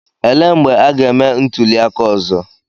Elee mgbe a ga-eme ntuliaka ọzọ?